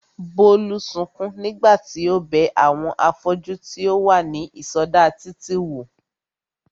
Bólú sukún nígbà tí ó bẹ àwọn afọ́jú tí ó wà ní ìsọdá títì wò